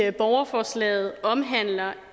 i borgerforslaget omhandler